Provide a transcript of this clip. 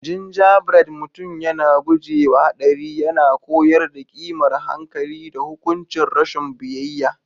Gingerbread Mutum yana guje wa haɗari yana koyar da ƙimar hankali da hukuncin rashin biyayya.